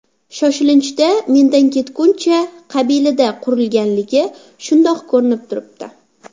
Shoshilinchda, mendan ketguncha qabilida qurilganligi shundoq ko‘rinib turibdi.